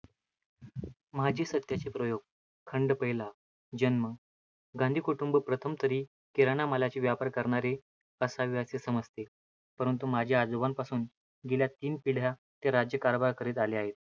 माझे सत्याचे प्रयोग. खंड पहिला. जन्म गांव कुटुंब प्रथम तरी किराण्या मालाचा व्यापार करणारे असावे असे समजते. परंतु माझ्या आजोबांपासून गेल्या तीन पिढया ते राज्यकारभार करीत आले आहे.